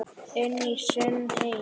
Inn í sinn heim.